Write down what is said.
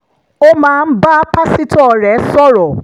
ó máa ń bá pásítọ̀ rẹ̀ sọ̀rọ̀